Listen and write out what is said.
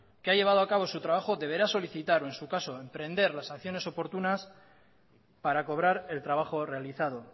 que ha llevado a cabo su trabajo deberá solicitar o en su caso emprender las acciones oportunas para cobrar el trabajo realizado